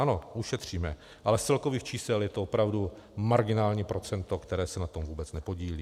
Ano, ušetříme, ale z celkových čísel je to opravdu marginální procento, které se na tom vůbec nepodílí.